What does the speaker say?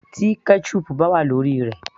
Tí ketchup bá wà lórí rẹ̀